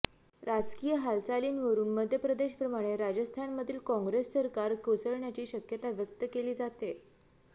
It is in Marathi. राजकीय हालचालींवरून मध्य प्रदेश प्रमाणे राजस्थानमधील काँग्रेस सरकार कोसळण्याची शक्यता व्यक्त केली जातेय